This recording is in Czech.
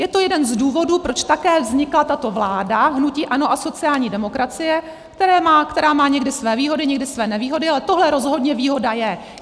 Je to jeden z důvodů, proč také vznikla tato vláda hnutí ANO a sociální demokracie, která má někdy své výhody, někdy své nevýhody, ale tohle rozhodně výhoda je.